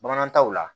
Bamanan taw la